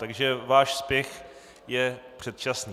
Takže váš spěch je předčasný.